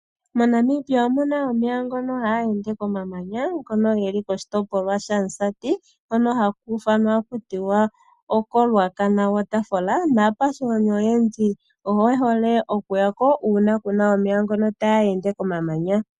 MoNamibia omuna omeya ngono haga ende komamanya ngono ge li koshitopolwa shaMusati hono haku ithanwa taku tiwa oko Ruacana waterfall, naakwashigwana oyendji oye hole okuya ko uuna kuna omeya ngono taga ende komamanya.